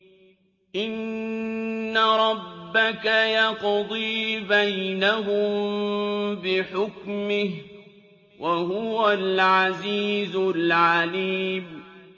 إِنَّ رَبَّكَ يَقْضِي بَيْنَهُم بِحُكْمِهِ ۚ وَهُوَ الْعَزِيزُ الْعَلِيمُ